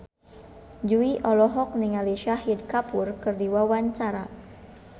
Jui olohok ningali Shahid Kapoor keur diwawancara